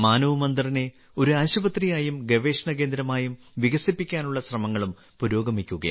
മാനവ് മന്ദിറിനെ ഒരു ആശുപത്രി ആയും ഗവേഷണ കേന്ദ്രമായും വികസിപ്പിക്കാനുള്ള ശ്രമങ്ങളും പുരോഗമിക്കുകയാണ്